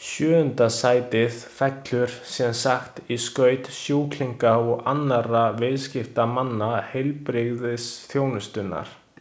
Sjöunda sætið fellur sem sagt í skaut sjúklinga og annarra viðskiptamanna heilbrigðisþjónustunnar.